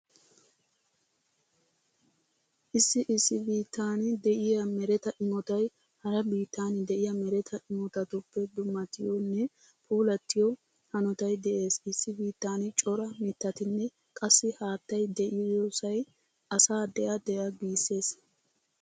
Issi issi bittan diya mereta imotay hara biittan diya mereta imotatuppe dummatiyonne puulattiyo hanotay de'ees. Issi biittan cora mittatinne qassi haattay diyosay asa de'a de'a giissees.